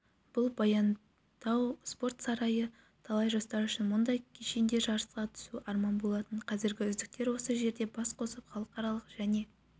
бұл баянтау спорт сарайы талай жастар үшін мұндай кешенде жарысқа түсу арман болатын қазір үздіктер осы жерде бас қосып халықаралық және